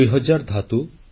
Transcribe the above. ଦୁଇ ହଜାର ଧାତୁ